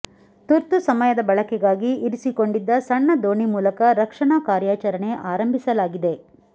ತುರ್ತು ಸಮಯದ ಬಳಕೆಗಾಗಿ ಇರಿಸಿಕೊಂಡಿದ್ದ ಸಣ್ಣ ದೋಣಿ ಮೂಲಕ ರಕ್ಷಣಾ ಕಾರ್ಯಾಚರಣೆ ಆರಂಭಿಸಲಾಗಿದೆ